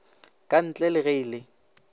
kantle le ge e le